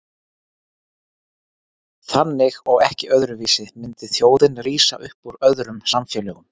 Þannig og ekki öðruvísi myndi þjóðin rísa upp úr öðrum samfélögum.